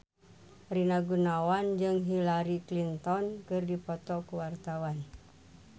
Rina Gunawan jeung Hillary Clinton keur dipoto ku wartawan